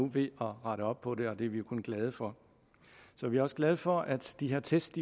ved at rette op på det og det er vi jo kun glade for så er vi også glade for at de her test